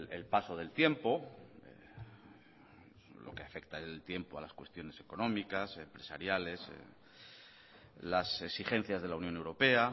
el paso del tiempo lo que afecta el tiempo a las cuestiones económicas empresariales las exigencias de la unión europea